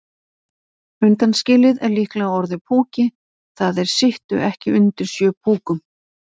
Undanskilið er líklega orðið púki, það er sittu ekki undir sjö púkum.